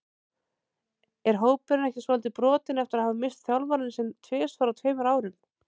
Er hópurinn ekki svolítið brotinn eftir að hafa misst þjálfarann sinn tvisvar á tveimur árum?